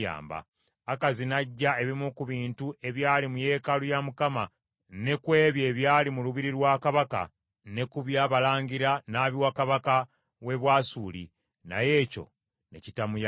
Akazi n’aggya ebimu ku bintu ebyali mu yeekaalu ya Mukama , ne ku ebyo ebyali mu lubiri lwa kabaka, ne ku bya balangira n’abiwa kabaka w’e Bwasuli; naye ekyo ne kitamuyamba.